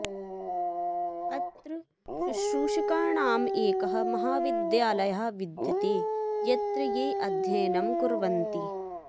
अत्र शुश्रूषकाणाम् एकः महाविद्यालयः विद्यते यत्र ये अध्ययनं कुर्वन्ति